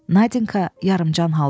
Nadinka yarımcan haldadır.